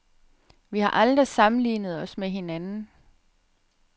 Vi har aldrig sammenlignet os med hinanden.